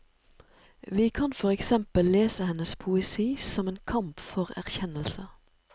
Vi kan for eksempel lese hennes poesi som en kamp for erkjennelse.